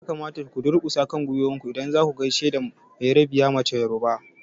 Ya kamata ku durkusa kan gwiwoyinku idan zaku gaishe da bayerabiyar mace yoruba!